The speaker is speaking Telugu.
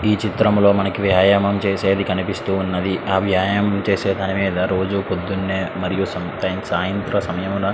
ఈ చిత్రంలో మనకి వ్యాయామం చేసేది కనిపిస్తూ ఉన్నది. ఆ వ్యాయామం చేసే దాని మీద రోజు పొద్దున్నే మరియు సాయంత్ర సమయంనా --